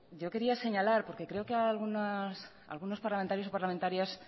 yo quería señalar porque creo que algunos parlamentarios y parlamentarias